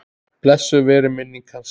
Blessuð veri minning hans.